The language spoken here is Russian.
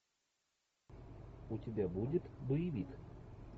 у тебя будет боевик